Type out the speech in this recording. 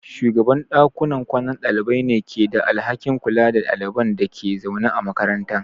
Shugaban dakunan kwanan dalibai ne ke da alhakin kula da ɗaliban da ke zaune a makaranta.